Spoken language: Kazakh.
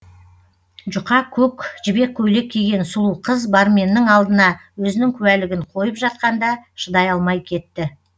жұқа көк жібек көйлек киген сұлу қыз барменнің алдына өзінің куәлігін қойып жатқанда шыдай алмай кетті